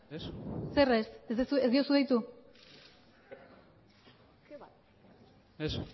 ez zer ez ez diozu deitu ez